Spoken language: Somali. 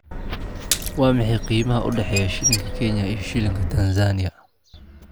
Waa maxay qiimaha u dhexeeya shilinka Kenya iyo shilinka Tansaaniya?